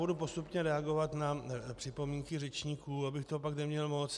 Budu postupně reagovat na připomínky řečníků, abych toho pak neměl moc.